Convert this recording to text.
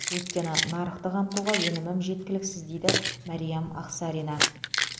өйткені нарықты қамтуға өнімім жеткіліксіз дейді мәриям ақсарина